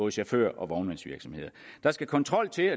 chauffører og vognmandsvirksomheder der skal kontrol til